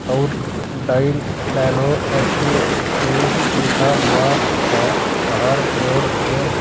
और dial nano H P भी लिखा हुआ है बाहर बोर्ड पे।